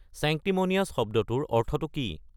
sanctimonious শব্দটোৰ অৰ্থটো কি